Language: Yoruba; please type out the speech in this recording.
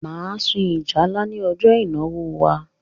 Máa sun ìjálá ní ọjọ ìnáwó wa